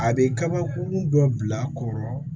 A bɛ kabakurun dɔ bila a kɔrɔ